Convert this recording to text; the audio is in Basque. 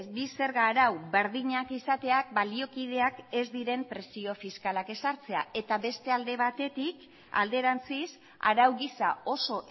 bi zerga arau berdinak izateak baliokideak ez diren presio fiskalak ezartzea eta beste alde batetik alderantziz arau gisa oso